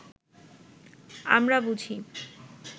আমরা বুঝি